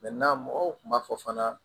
mɔgɔw kun b'a fɔ fana